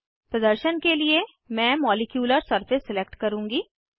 प्रदर्शन के लिए मैं मॉलिक्यूलर सरफेस सिलेक्ट करुँगी